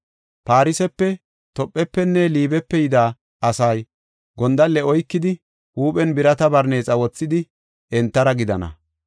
Farsefe, Tophefenne Liibepe yida asay gondalle oykidi, huuphen birata barneexa wothidi, entara gidana.